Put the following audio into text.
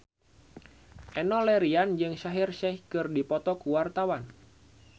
Enno Lerian jeung Shaheer Sheikh keur dipoto ku wartawan